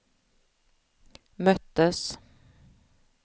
möttes